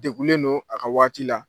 Degulen don a ka waati la.